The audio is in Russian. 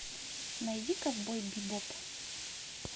найди ковбой бибоп